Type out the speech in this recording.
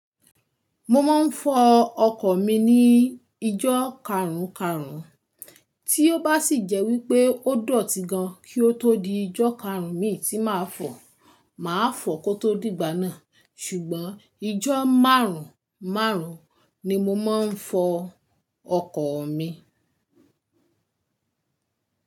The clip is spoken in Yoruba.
Mo máa ń fọ ọkọ̀ mi ní ijọ́ karùn-karùn, tí ó bá sì jẹ́ wípé ó dọ̀tí gan kí ó tó di ijọ́ karùn-ún mi tí màá fọ̀, màá fọ̀ kó tó dìgbà náà. Ṣùgbọ́n ijọ́ márùn-ún márùn-ún ni mo máa ń fọ ọkọ̀ mi.